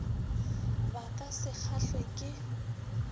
ba ka se kgahlwe ke